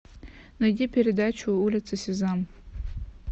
найди передачу улица сезам